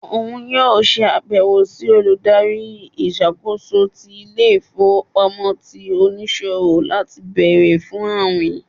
òun yóò ṣe àbẹwò sí Olùdarí ìṣàkóso ti ìlé-ifowopámọsí tí oniṣowo lati béèrè fún awín.